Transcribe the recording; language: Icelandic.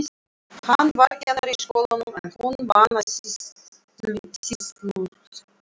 Hann var kennari í skólanum en hún vann á sýsluskrifstofunni.